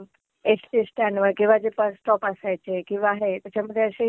ST stand वर किंवा जे बस स्टॉप असायचे किंवा हे त्याच्यामधे असे